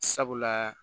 Sabula